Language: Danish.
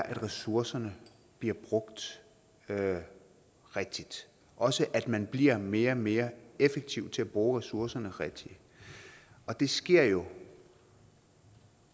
at ressourcerne bliver brugt rigtigt og også at man bliver mere og mere effektiv til at bruge ressourcerne rigtigt og det sker jo